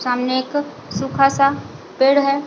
सामने एक सुखा सा पेड़ है।